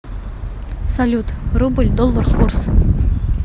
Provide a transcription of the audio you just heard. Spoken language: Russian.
салют рубль доллар курс